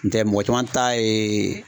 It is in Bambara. N tɛ mɔgɔ caman ta ye